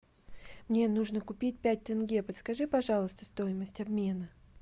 мне нужно купить пять тенге подскажи пожалуйста стоимость обмена